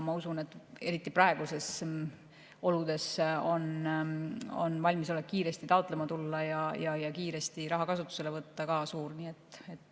Ma usun, et eriti praegustes oludes on valmisolek kiiresti taotlema tulla ja raha kiiresti kasutusele võtta ka suur.